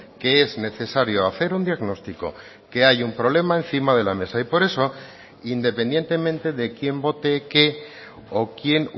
que es necesario hacer un diagnóstico que hay un problema encima de la mesa y por eso independientemente de quién vote qué o quién